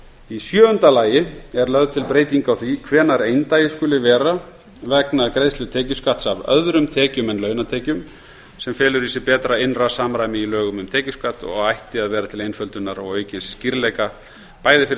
í sjöunda lagi er lögð til breyting á því hvenær eindagi skuli vera vegna greiðslu tekjuskatts af öðrum tekjum en launatekjum sem felur í sér betra innra samræmi í lögum um tekjuskatt og ætti að vera til einföldunar og aukins skýrleika bæði fyrir